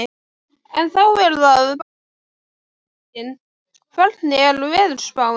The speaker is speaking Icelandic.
En þá er það bara stóra spurningin, hvernig er veðurspáin?